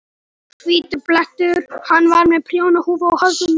Hvítur blettur. hann var með prjónahúfu á höfðinu.